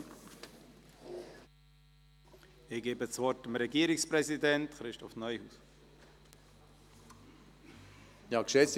Ich gebe dem Regierungspräsidenten, Christoph Neuhaus, das Wort.